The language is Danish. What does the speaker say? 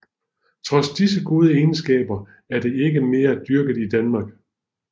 Trods disse gode egenskaber er det ikke meget dyrket i Danmark